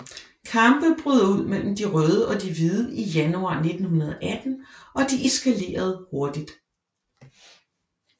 Kampe brød ud mellem de røde og de hvide i januar 1918 og de eskalerede hurtigt